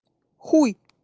хуй